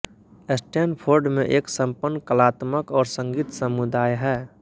Stanford में एक संपन्न कलात्मक और संगीत समुदाय है